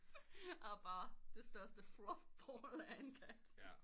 Han er bare det største fluff ball af en kat